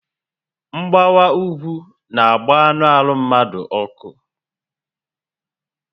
Mgbawa úgwú n'agba anụ arụ mmadu ọkụ